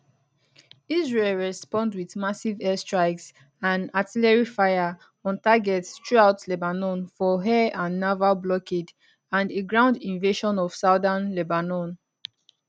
israel respond wit massive airstrikes and artillery fire on targets throughout lebanon for air and naval blockade and a ground invasion of southern lebanon